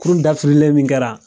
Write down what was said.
Kurun dafirilen min kɛra